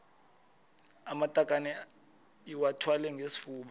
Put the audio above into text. amatakane iwathwale ngesifuba